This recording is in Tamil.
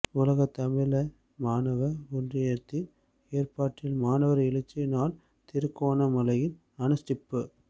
உலக தமிழர் மாணவர் ஒன்றியத்தின் ஏற்பாட்டில் மாணவர் எழுச்சி நாள் திருகோணமலையில் அனுஸ்டிப்பு